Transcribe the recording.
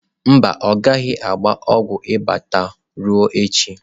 Mba, ọ gaghị agba ọgwụ ịba taa, ruo echi.